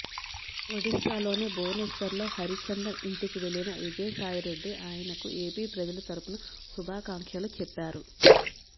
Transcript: ఒడిశాలోని భువనేశ్వర్ లో హరిచందన్ ఇంటికి వెళ్లిన విజయసాయిరెడ్డి ఆయనకు ఏపీ ప్రజల తరఫున శుభాకాంక్షలు చెప్పారు